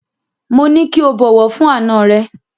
Mo ní kí o bọ̀wọ̀ fún àna rẹ.